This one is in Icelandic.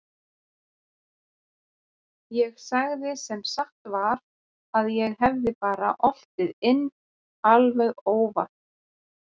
Ég sagði sem satt var að ég hefði bara oltið inn alveg óvart.